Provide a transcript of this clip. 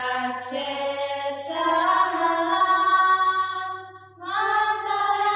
ଶସ୍ୟଶ୍ୟାମଳାମ୍ Mataram